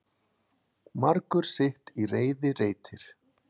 Margur sitt í reiði reitir.